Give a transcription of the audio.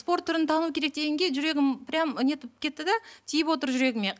спорт түрін тану керек дегенге жүрегім прям нетіп кетті де тиіп отыр жүрегіме